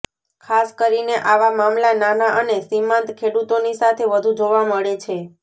ખાસ કરીને આવા મામલા નાના અને સીમાંત ખેડૂતોની સાથે વધુ જોવા મળે છે